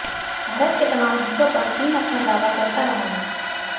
भारत के तमाम हिस्सों पर चीन अपना दावा करता रहा है